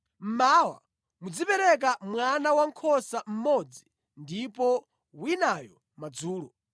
Mmawa muzipereka mwana wankhosa mmodzi ndipo winayo madzulo.